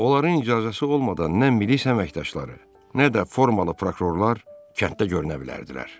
Onların icazəsi olmadan nə milis əməkdaşları, nə də formalı prokurorlar kənddə görünə bilərdilər.